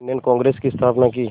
Indian Congress की स्थापना की